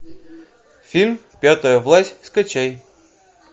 фильм пятая власть скачай